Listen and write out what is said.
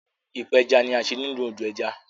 ipeja ní a ṣe nínú odo ẹja.